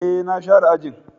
E, na share ajin.